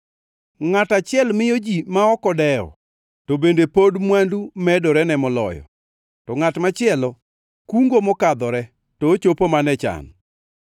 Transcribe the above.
Ngʼato achiel miyo ji ma ok odewo, to bende pod mwandu medorene moloyo, to ngʼat machielo kungo mokadhore, to ochopo mana e chan.